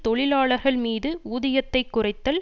தொழிலாளர்கள் மீது ஊதியத்தை குறைத்தல்